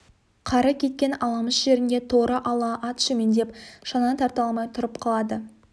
қары кеткен аламыш жерінде торы ала ат шөмендеп шананы тарта алмай тұрып қалады